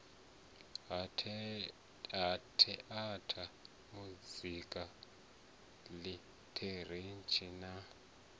ha theatha muzika ḽitheretsha na